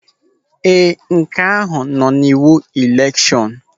Ee, nke ahụ nọ n'iwu elekshọn.